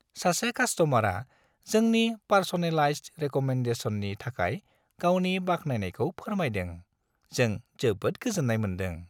सासे कास्ट'मारआ जोंनि पार्स'नेलाइज्ड रेक'मेन्डेसननि थाखाय गावनि बाख्नायनायखौ फोरमायदों, जों जोबोद गोजोन्नाय मोनदों।